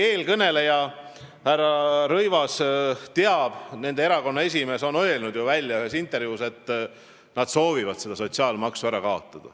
Eelkõneleja härra Rõivas teab seda – tema erakonna esimees on ju selle ühes intervjuus välja öelnud –, et erakond soovib sotsiaalmaksu ära kaotada.